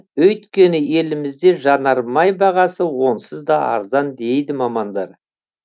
өйткені елімізде жанармай бағасы онсыз да арзан дейді мамандар